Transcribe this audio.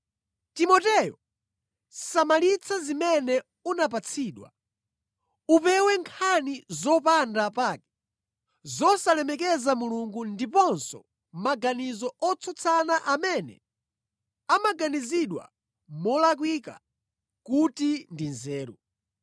Timoteyo, samalitsa zimene unapatsidwa. Upewe nkhani zopanda pake zosalemekeza Mulungu ndiponso maganizo otsutsana amene amaganizidwa molakwika kuti ndi nzeru.